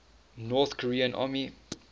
north korean army